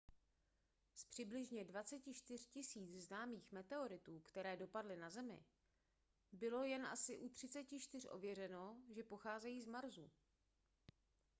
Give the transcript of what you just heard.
z přibližně 24 000 známých meteoritů které dopadly na zemi bylo jen asi u 34 ověřeno že pocházejí z marsu